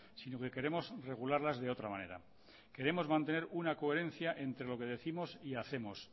sino que queremos regularlas de otra manera queremos mantener una coherencia entre lo que décimos y hacemos